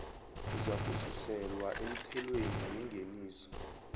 uzakususelwa emthelweni wengeniso